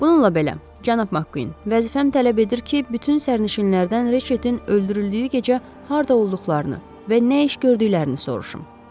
Bununla belə, cənab McQuinn, vəzifəm tələb edir ki, bütün sərnişinlərdən Ritchettin öldürüldüyü gecə harda olduqlarını və nə iş gördüklərini soruşum.